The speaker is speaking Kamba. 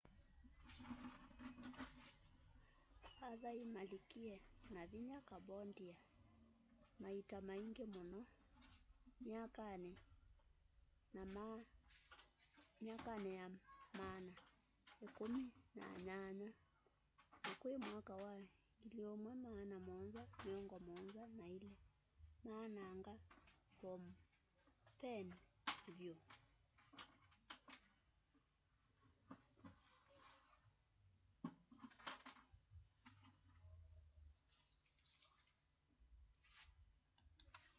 a thai malikie na vinya cambodia maita maingi muno myakani ya maana ikumi na nyanya na kwi mwaka wa 1772 maananga phnom phen vyu